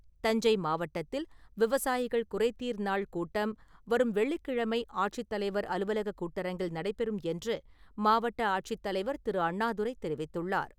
தஞ்சை மாவட்டத்தில் விவசாயிகள் குறைதீர்நாள் கூட்டம் வரும் வெள்ளிக்கிழமை ஆட்சித்தலைவர் அலுவலகக் கூட்டரங்கில் நடைபெறும் என்று மாவட்ட ஆட்சித் தலைவர் திரு. அண்ணாதுரை தெரிவித்துள்ளார்.